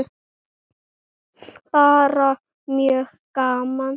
Bara mjög gaman.